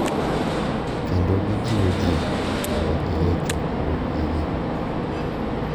Kendo gijiwo ji mondo odhi e chokruogegi.